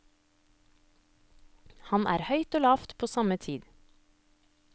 Han er høyt og lavt på samme tid.